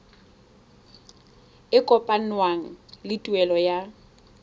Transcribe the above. e kopanngwang le tuelo ya